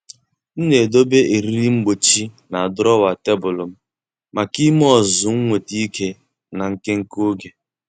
M na-edobe eriri mgbochi na drawer tebụl m maka ime ọzụzụ nweta ike na nke nke oge.